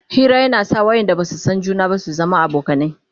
Hira na sa wayanda Basu San juna ba su zamo abokanai